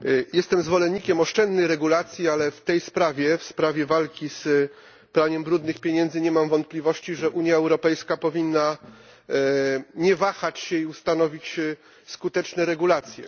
Jestem zwolennikiem oszczędnej regulacji, ale w tej sprawie, w sprawie walki z praniem brudnych pieniędzy, nie mam wątpliwości, że Unia Europejska powinna nie wahać się i ustanowić skuteczne regulacje.